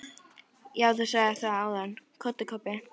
Já, þú sagðir það áðan, sagði Kobbi.